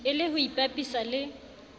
e le ho ipapisa le